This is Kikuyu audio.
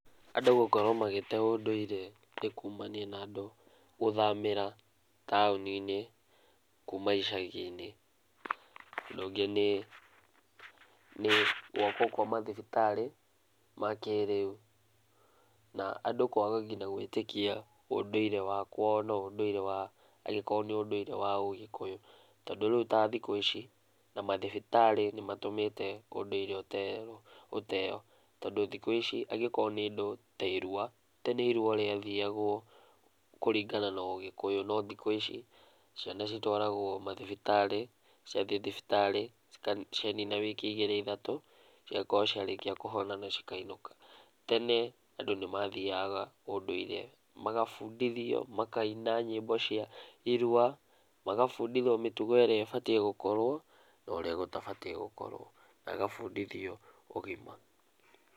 Andũ gũkorwo magĩte ũndũire nĩ kumania na andũ gũthamĩra taũni-inĩ kuma icagi-inĩ. Ũndũ ũngĩ nĩ gwakwo kwa mathibitarĩ ma kĩrĩu na andũ kwaga nginya gwĩtĩkia ũndũire wa kwao na ũndũire wa angĩkorwo nĩ ũndũire wa ũgĩkuyũ, tondũ rĩu ta thikũ ici, na mathibitarĩ nĩ matũmĩte ũndũire ũteo, tondũ thikũ ici angĩkorwo nĩ indo ta irua, tene irua rĩathiagwo kũringana na ũgĩkũyũ, no rĩu thikũ ici ciana citwaragwo mathibitarĩ, ciathiĩ thibitarĩ, cianina wiki igĩrĩ ithatũ cigakorwo ciarĩkia kũhona na cikainũka. Tene andũ nĩ mathiaga ũndũire, magabundithio, makaina nyĩmbo cia irua, magabundithio mĩtugó ĩrĩa ĩbatiĩ gũkorwo, na ũrĩa gũtabatiĩ gũkorwo, na agabundithio ũgima.